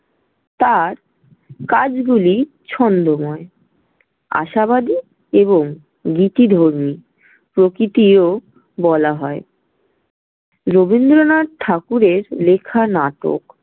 তাঁর কাজগুলি ছন্দময়, আশাবাদী এবং গীতিধর্মী, প্রকৃতিও বলা হয়। রবীন্দ্রনাথ ঠাকুরের লেখা নাটক।